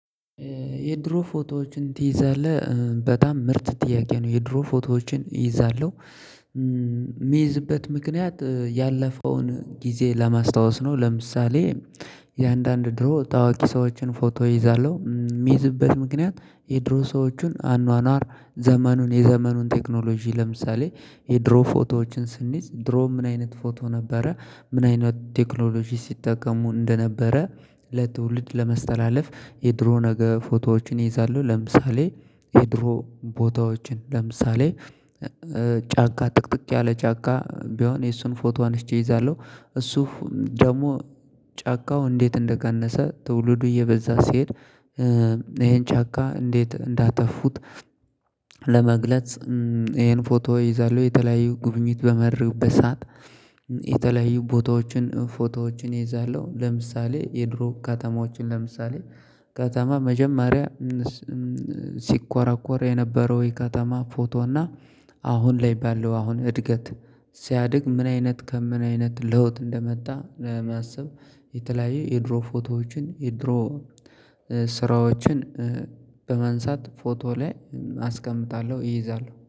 የድሮ ፎቶዎችን ትይዛለህ በጣም ምርጥ ጥያቄ ነው? የድሮ ፎቶዎችን እይዛለሁ የሚይዝበት ምክንያት ያለፈውን ጊዜ ለማስታወስ ነው። ለምሳሌ የአንዳንድ ድሮ ታዋቂ ሰዎችን ፎቶ ይይዛለሁ። የሚይዝበት ምክንያት የድሮ ሰዎችን አኗኗር ዘመኑን የዘመኑን ቴክኖሎጂ ለምሳሌ የድሮ ፎቶዎችን ስንይዝ ድሮ ምን አይነት ፎቶ ነበረ። ምን አይነት ቴክኖሎጂ ሲጠቀሙ እንደነበረ። ለትውልድ ለመስተላለፍ የድሮ ነገ ፎቶዎችን ይይዛሉ። ለምሳሌ የድሮ ቦታዎችን ለምሳሌ ጫካ ጥቅጥቅ ያለ ጫካ ቢሆን የሱን ፎቶ አንሽቼ እይዛለሁ። እሱ ደግሞ ጫካው እንዴት እንደቀነሰ ትውልዱ እየበዛ ሲሄድ ይሄን ጫካ እንዴት እንዳተፉት ለመግለጽ። ይሄን ፎቶ ይይዛል። የተለያዩ ጉብኝት በመርበሳት የተለያዩ ቦታዎችን ፎቶዎችን ይይዛለሁ። ለምሳሌ የድሮ ከተማዎችን ለምሳሌ ከተማ መጀመሪያ ሲኳራኳር የነበረው ይሄ ከተማ ፎቶ እና አሁን ላይ ባለው አሁን እድገት። ሲያድግ ምን አይነት ከምን አይነት ለውጥ እንደመጣ ለማሰብ። የተለያየ የድሮ ፎቶዎችን የድሮ ስራዎችን በማንሳት ፎቶ ላይ አስቀምጣለሁ እይዛለሁ